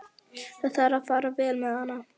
Það þarf að fara vel með hana.